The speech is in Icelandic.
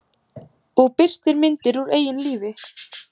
Og birtir myndir úr eigin lífi.